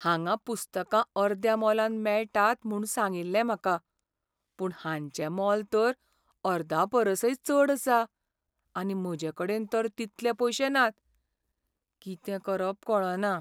हांगां पुस्तकां अर्द्या मोलान मेळटात म्हूण सांगिल्लें म्हाका. पूण हांचें मोल तर अर्दापरसय चड आसा. आनी म्हजेकडेन तर तितले पयशे नात. कितें करप कळना.